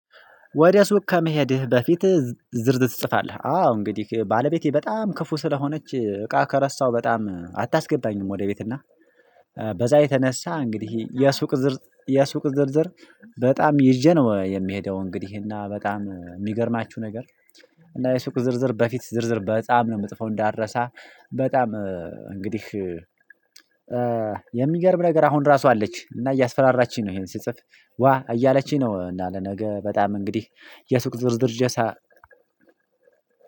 ወደ ሱቅ ከመሄድህ በፊት ዝርዝር ትጽፋለህ አዎ እንግዲህ ባለቤቴ በጣም ክፉ ስለሆነች እቃ ከረሳው በጣም አታስገባኝም። ወደ ቤት እና በዛ የተነሳ እንግዲህ የሱቅ የሱቅ ዝርዝር በጣም ይዤ ነው የሚሄደው። እንግዲህ እና በጣም የሚገርማችሁ ነገር እና የሱቅ ዝርዝር በፊት ዝርዝር በጣም ነው የምጥፈው። እንዳረሳ በጣም እንግዲህ የሚገርም ነገር አሁን ራሱ አለች እና እያስፈራራችኝ ነው። ይሄን ሲጽፍ ዋ እያለችኝ ነው። እና ለነገ በጣም እንግዲህ የሱቅ ዝርዝር ጀሳ